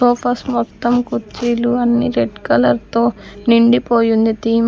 Sofas మొత్తం కుర్చీలు అన్ని రెడ్ కలర్ తో నిండిపోయి ఉంది తీమ్ .